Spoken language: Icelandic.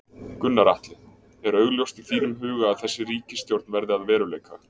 Gunnar Atli: Er augljóst í þínum huga að þessi ríkisstjórn verði að veruleika?